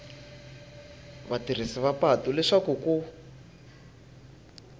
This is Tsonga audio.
vatirhisi va patu leswaku ku